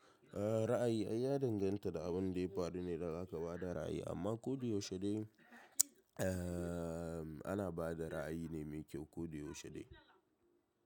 A'a ra'ayi an ya danganta da abun da ya faru ne dan haka ka bada ra'ayi amma koda yaushe dai ana bada ra'ayi ne mai kyau koda yaushe dai.